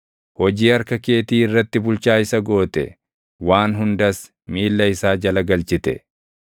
Hojii harka keetii irratti bulchaa isa goote; waan hundas miilla isaa jala galchite;